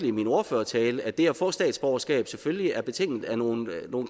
i min ordførertale at det at få statsborgerskab selvfølgelig er betinget af nogle